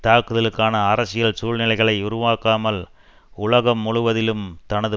தாக்குதலுக்கான அரசியல் சூழ்நிலைகளை உருவாக்காமல் உலகம் முழுவதிலும் தனது